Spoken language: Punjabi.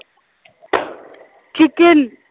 ਚਿਕਨ